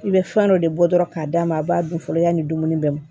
I bɛ fɛn dɔ de bɔ dɔrɔn k'a d'a ma a b'a dun fɔlɔ yanni dumuni bɛ mɔ